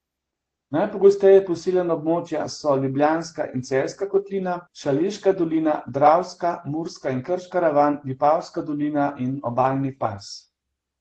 Najgosteje poseljena območja so Ljubljanska in Celjska kotlina, Šaleška dolina, Dravska, Murska in Krška ravan, Vipavska dolina in obalni pas.